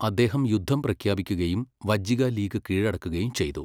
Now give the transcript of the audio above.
അദ്ദേഹം യുദ്ധം പ്രഖ്യാപിക്കുകയും വജ്ജിക ലീഗ് കീഴടക്കുകയും ചെയ്തു.